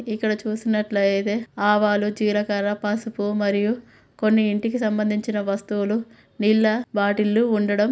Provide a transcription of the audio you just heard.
ఇక్కడ చూసినట్టు అయితే ఆవాలు జీలకర పసుపు మరియు కొన్ని ఇంటికి సంభందించిన వస్తువులు నీళ్ళ బాటిళ్ళు ఊండడం.